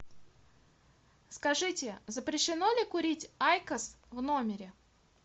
скажите запрещено ли курить айкос в номере